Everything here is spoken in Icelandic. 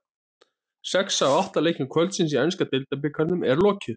Sex af átta leikjum kvöldsins í enska deildabikarnum er lokið.